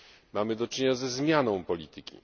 Mamy do czynienia ze zmianą polityki.